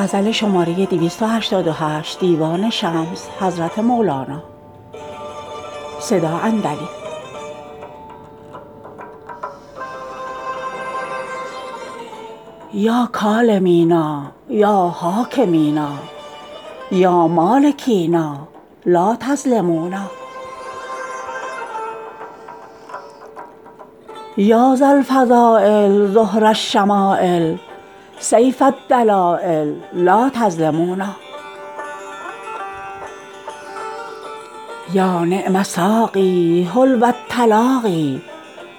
یا کالمینا یا حاکمینا یا مالکینا لا تظلمونا یا ذاالفضایل زهر الشمایل سیف الدلایل لا تظلمونا یا نعم ساقی حلو التلاقی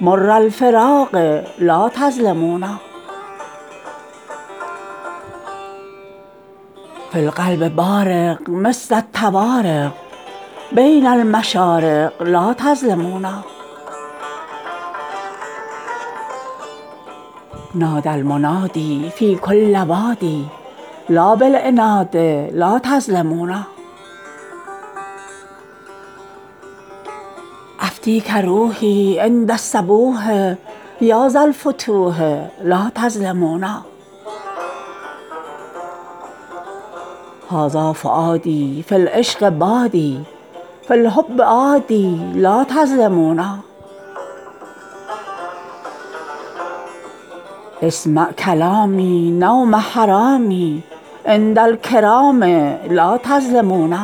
مر الفراقٖ لا تظلمونا فی القلب بارق مثل الطوارق بین المشارق لا تظلمونا نادی المنادی فی کل وادی لا بالعنادٖ لا تظلمونا افدیک روحی عند الصبوحٖ یا ذا الفتوحٖ لا تظلمونا هذا فؤادی فی العشق بادی فی الحب عادی لا تظلمونا إسمع کلامی نومی جرامی عند الکرامٖ لا تظلمونا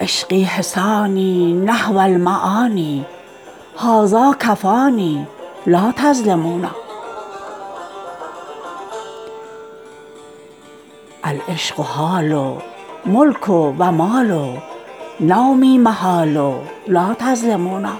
عشقی حصانی نحو المعانی هذا کفانی لا تظلمونا العشق حالٖ ملک و مالٖ نومی محال لا تظلمونا